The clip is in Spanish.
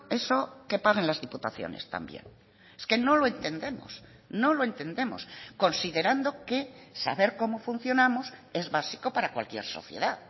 eso que paguen las diputaciones también es que no lo entendemos no lo entendemos considerando que saber cómo funcionamos es básico para cualquier sociedad